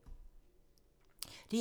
DR2